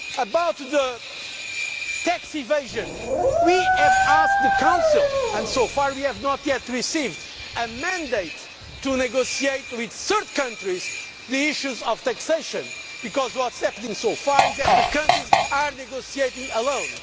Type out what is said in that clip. About tax evasion we have asked the Council, and so far we have not yet received a mandate to negotiate with third countries the issues of taxation because what is happening so far is that countries are negotiating alone.